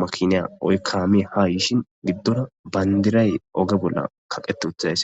makiniya oykaami ha yishin giddora bayndiray oge bolla kaqete uthaes